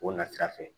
O na sira fɛ